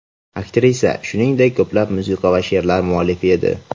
Aktrisa, shuningdek, ko‘plab musiqa va she’rlar muallifi edi.